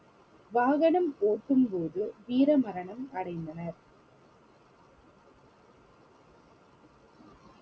வாகனம் ஓட்டும் போது வீர மரணம் அடைந்தனர்